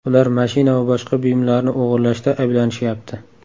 Ular mashina va boshqa buyumlarni o‘g‘irlashda ayblanishyapti.